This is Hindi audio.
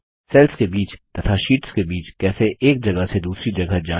सेल्स के बीच तथा शीट्स के बीच कैसे एक जगह से दूसरी जगह जाएँ